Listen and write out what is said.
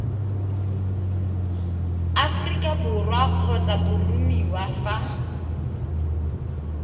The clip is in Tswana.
aforika borwa kgotsa boromiwa fa